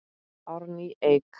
Árný Eik.